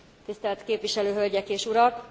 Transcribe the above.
Tisztelt képviselő hölgyek és urak,